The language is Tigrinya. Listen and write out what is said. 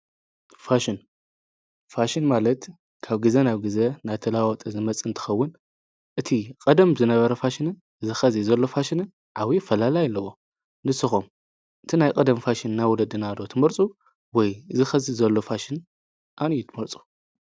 ፋሽን ፋሽን ማለት ካብ ጊዜ ናብ ጊዘ ናተላዋጠ ዝመጽንትኸውን እቲ ቐደም ዝነበረ ፋሽንን ዝኸዚ ዘሎ ፋሽን ዓዊ ፈላላ ኣለዎ ንስኾም እቲ ናይ ቀደም ፋሽን እና ወለ ድናዶ ትመርፁ ወይ ዝኸዚ ዘሎፋሽን ኣንዩትመርፁ።